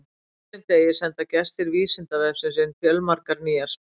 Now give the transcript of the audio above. Á hverjum degi senda gestir Vísindavefsins inn fjölmargar nýjar spurningar.